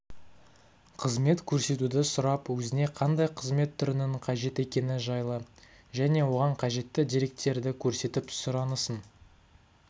қызмет көрсетуді сұрап өзіне қандай қызмет түрінің қажет екені жайлы және оған қажетті деректерді көрсетіп сұранысын